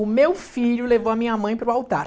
O meu filho levou a minha mãe para o altar.